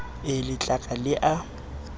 e le tlaka le a